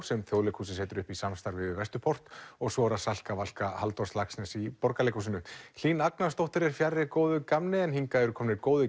sem Þjóðleikhúsið setur upp í samstarfi við Vesturport og svo er það Salka Valka Halldórs Laxness í Borgarleikhúsinu Hlín Agnarsdóttir er fjarri góðu gamni en hingað eru komnir góðir